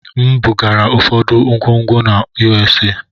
M bugara ụfọdụ ngwongwo na USA.